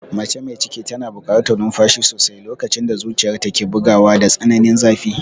Mace mai ciki tana buƙatar numfashi sosai lokacin da zuciyarta ke bugawa da tsananin zafi.